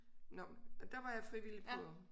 Nåh og der var jeg frivillig på